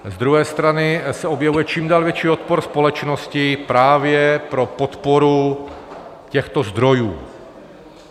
Z druhé strany se objevuje čím dál větší odpor společnosti právě pro podporu těchto zdrojů.